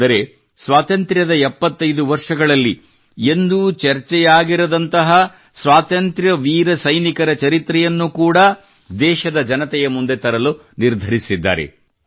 ಅಂದರೆ ಸ್ವಾತಂತ್ರ್ಯದ 75 ವರ್ಷಗಳಲ್ಲಿ ಎಂದೂ ಚರ್ಚೆಯಾಗಿರದಂತಹ ಸ್ವಾತಂತ್ರ್ಯ ವೀರ ಸೈನಿಕರ ಚರಿತ್ರೆಯನ್ನು ಕೂಡಾ ದೇಶದ ಜನತೆಯ ಮುಂದೆ ತರಲು ನಿರ್ಧರಿಸಿದ್ದಾರೆ